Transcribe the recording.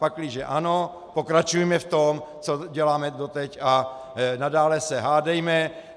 Pakliže ano, pokračujme v tom, co děláme doteď, a nadále se hádejme.